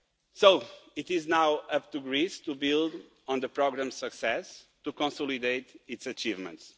So, it is now up to Greece to build on the programme's success and to consolidate its achievements.